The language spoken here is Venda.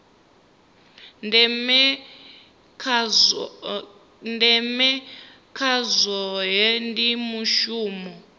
ndeme kha zwohe ndi mushumo